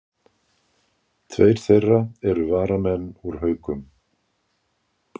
Tveir þeirra eru varnarmenn úr Haukum